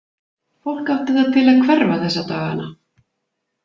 Fólk átti það til að hverfa þessa dagana.